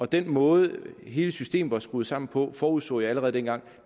den måde hele systemet er skruet sammen på forudså jeg allerede dengang at